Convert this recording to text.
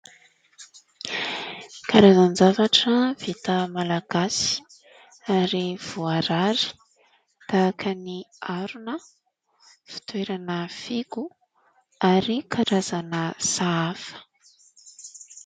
Karazan-javatra vita malagasy, ary voarary, tahaka ny harona, fitoerana figo ary karazana sahafa.